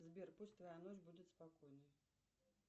сбер пусть твоя ночь будет спокойной